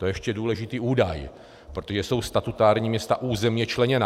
To je ještě důležitý údaj, protože jsou statutární města územně členěná.